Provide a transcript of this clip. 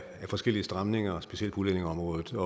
forskellige stramninger på specielt udlændingeområdet